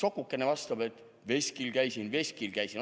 " Sokuke vastab: "Veskil käisin, veskil käisin.